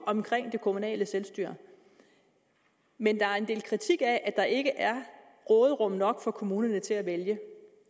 i det kommunale selvstyre men der er en del kritik af at der ikke er råderum nok for kommunerne til at vælge